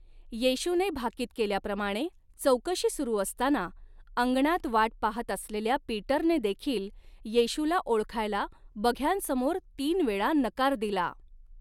येशूने भाकीत केल्याप्रमाणे चौकशी सुरू असताना, अंगणात वाट पाहत असलेल्या पीटरने देखील येशूला ओळखायला बघ्यांसमोर तीन वेळा नकार दिला.